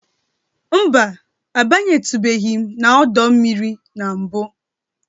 Mba, abanyetubeghị m n'ọdọ mmiri na mbụ.